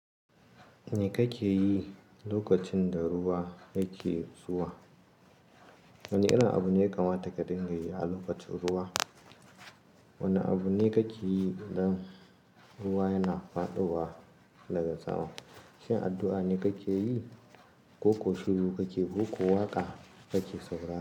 Me kake yi lokacin da ruwa yake zuwa? Wane irin abu ne ka mata ka dinga yi a lokacin ruwa? Wane abu ne kake yi idan ruwa yana faɗowa daga tsamo? Shin addu'a ne kake yi ko shiru kake koko waƙa kake saurawa?